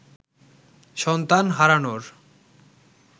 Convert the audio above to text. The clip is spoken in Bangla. সন্তান হারানোর